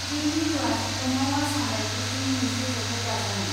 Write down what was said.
बे मिरुआ शिलंआव आसाम राइफल्सजों मोनसे जथाय दाजानाय।